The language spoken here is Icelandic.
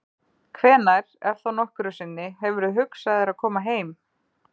Hvenær, ef þá nokkru sinni, hefurðu hugsað þér að koma heim?